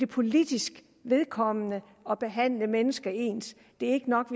politisk vedkommende at behandle mennesker ens det ikke nok